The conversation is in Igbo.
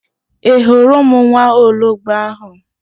Ị hụrụ ụmụ nwa ologbo ahụ?